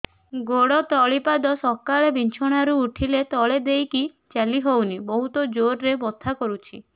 ଗୋଡ ତଳି ପାଦ ସକାଳେ ବିଛଣା ରୁ ଉଠିଲେ ତଳେ ଦେଇକି ଚାଲିହଉନି ବହୁତ ଜୋର ରେ ବଥା କରୁଛି